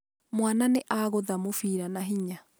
Mwana nĩagũtha mũbira na hinya.